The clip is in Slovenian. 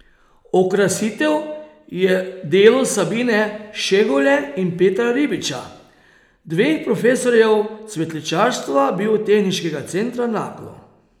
Okrasitev je delo Sabine Šegule in Petra Ribiča, dveh profesorjev cvetličarstva Biotehniškega centra Naklo.